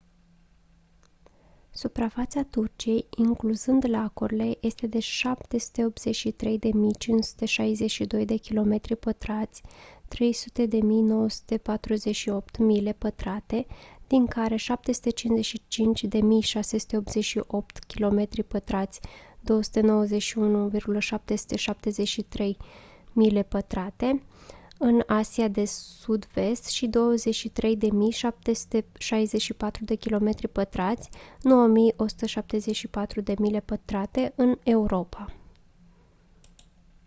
suprafața turciei incluzând lacurile este de 783.562 kilometri pătrați 300.948 mile pătrate din care 755.688 kilometri pătrați 291.773 mile pătrate în asia de sud-vest și 23.764 kilometri pătrați 9.174 mile pătrate în europa